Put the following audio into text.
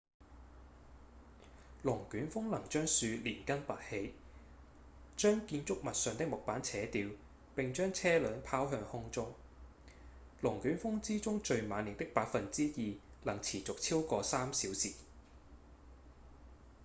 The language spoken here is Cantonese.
龍捲風能將樹連根拔起將建築物上的木板扯掉並將車輛拋向空中龍捲風之中最猛烈的 2% 能持續超過3小時